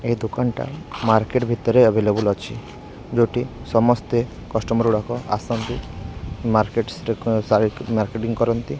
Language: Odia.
ଏଇ ଦୋକାନଟା ମାର୍କେଟ ଭିତରେ ଏଭେଲେବୁଲ ଅଛି ଯୋଉଟି ସମସ୍ତେ କଷ୍ଟମର ଲୋକ ଆସନ୍ତି ମାର୍କେଟସ୍ ରେ କଣ ଯାଇକି ମାରକେଟିଂ କରନ୍ତି।